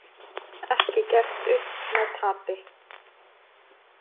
Ekki gert upp með tapi